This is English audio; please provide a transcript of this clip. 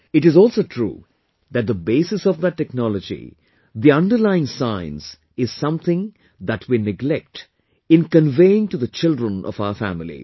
But, it is also true that the basis of that technology, the underlying science is something that we neglect in conveying to the children of our family